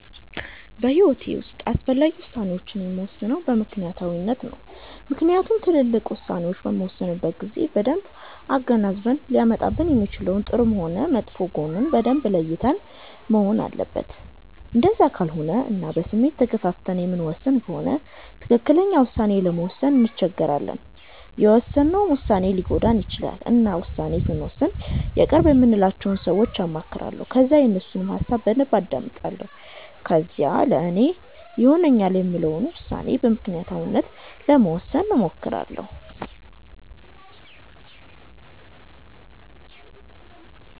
በሂዎቴ ዉስጥ አስፈላጊ ውሳኔወቺን የምወስነው በምክኒያታዊነት ነው። ምክንያቱም ትልቅ ዉሳኔዎች በምንወስንበት ጊዜ በደንብ አገናዝበን ሊያመጣብን የሚችለውን ጥሩም ሆነ መጥፎ ጎኑን በደንብ ለይተን መሆን አለበት እንደዛ ካልሆነ እና በስሜት ተገፋፍተን የምንወስን ከሆነ ትክክለኛ ዉሳኔ ለመወሰን እንቸገራለን የውሰነውም ዉሳኔ ሊጎዳን ይቺላል። እና ዉሳኔ ስወስን የቅርብ የምላቸውን ሰወች አማክራለሁ ከዛ የነሱንም ሀሳብ በደንብ አዳምጣለሁ ከዛም ለኔ ይሆነኛል የምለውን ዉሳኔ በምክኒያታዊነት ለመወሰን እሞክራለሁ